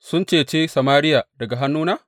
Sun cece Samariya daga hannuna?